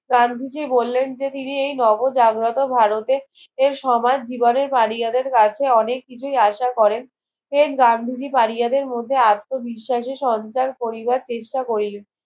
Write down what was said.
গান্ধীজি বললেন যে তিনি এই নব জাগরত ভারতে এর সমাজ জীবনের পারিয়া দেড় কাছে অনেক কিছুই আশা করেন সেম গান্ধীজি পারিয়াদের মধ্যে আত্ম বিস্বাসে সন্ত্রার করিবার চেষ্টা করিলেন